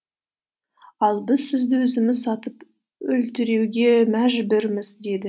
ал біз сізді өзіміз атып өлтіруге мәжбүрміз деді